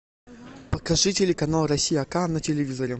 покажи телеканал россия к на телевизоре